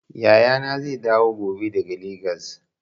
Yaya zai dawo gobe daga Legas.